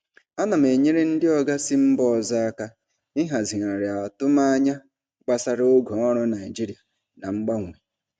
Ana m enyere ndị oga si mba ọzọ aka ịhazigharị atụmanya gbasara oge ọrụ Naịjirịa na mgbanwe.